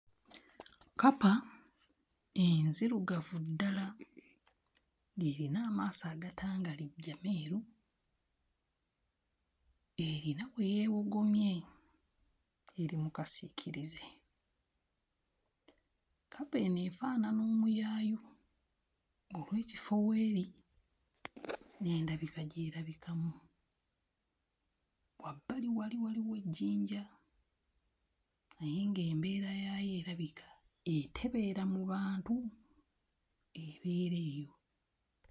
Kkapa enzirugavu ddala ng'erina amaaso agatangalijja, meeru erina we yeewogomye, eri mu kasiikirize. Kkapa eno efaanana omuyaayu olw'ekifo w'eri n'endabika gy'erabikamu. Wabbali wali waliwo ejjinja naye ng'embeera yaayo erabika etebeera mu bantu, ebeera eyo.